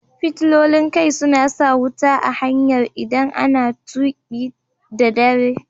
Fitilolin kai suna sa wuta a hanyar idan a na tuki da dare.